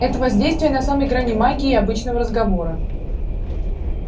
это воздействие на самой грани магии и обычного разговора